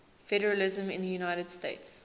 federalism in the united states